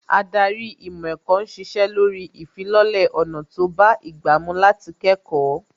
Ádárì ìmọ̀ ẹ̀kọ́ ń ṣiṣẹ́ lórí ìfilọ́lẹ̀ ọ̀nà tó bá ìgbà mú láti kẹ́kọ̀ọ́